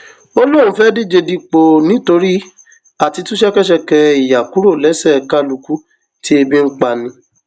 ó lóun fẹẹ díje dupò nítorí àti tú ṣẹkẹṣẹkẹ ìyà kúrò lẹsẹ kálukú tí ebi ń pa ni